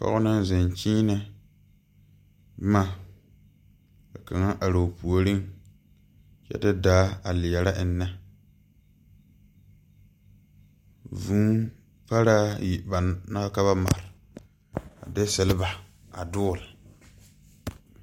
Pɔge naŋ zeŋ kyiinɛ boma ka kaŋa aroo puoriŋ kyɛ de daa a leɛrɛ eŋnɛ vūū paraayi ba naŋ ka ba mare a de silba a dɔgle.